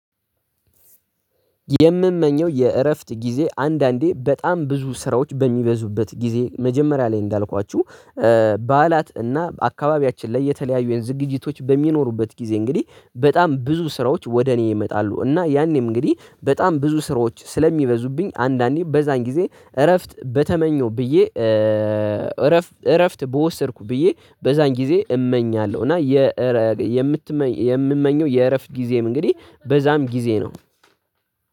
የምመኘው የእረፍት ጊዜ አንዳንዴ በጣም ብዙ ስራዎች በሚበዙበት ጊዜ መጀመሪያ ላይ እንዳልኳችሁ በዓላት እና አካባቢያችን ላይ የተለያዩ የዝግጅቶች በሚኖሩበት ጊዜ እንግዲህ በጣም ብዙ ስራዎች ወደ እኔ ይመጣሉ እና ያኔም እንግዲህ በጣም ብዙ ስራዎች ስለሚበዙብኝ አንዳንዴ በዛን ጊዜ እረፍት በተመኘው ብዬ እረፍት በወሰድኩ ብዬ በዛን ጊዜ እመኛለሁ። እና የምትመ የምመኘው የእረፍት ጊዜም እንግዲህ በዛም ጊዜ ነው።